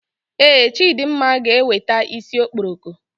Ee, Chidimma ga eweta isi okporoko